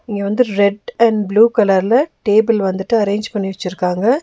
இங்க வந்து red and blue கலர்ல டேபிள் வந்துட்டு அரேஞ்ச் பண்ணி வச்சிருக்காங்க.